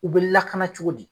U bɛ lakana cogo di